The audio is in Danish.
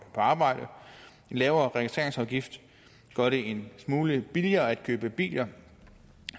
på arbejde en lavere registreringsafgift gør det en smule billigere at købe biler